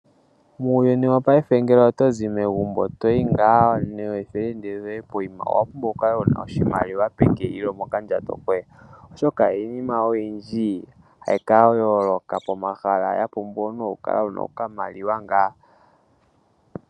Muuyuni wopaife ngele otozi megumbo toyi ngaa neefelende dhoye poima owapumbwa wukale wuna oshimaliwa peke nenge mokandjato koye oshoka iinima oyindji hayi ka holoka pomahala omuntu